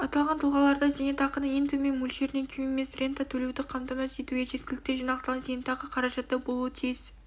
аталған тұлғаларда зейнетақының ең төмен мөлшерінен кем емес рента төлеуді қамтамасыз етуге жеткілікті жинақталған зейнетақы қаражаты болуы тиіс